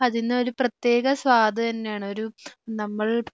അതിനൊരു പ്രത്യേക സ്വാദ് തന്നെയാണ് നമ്മൾ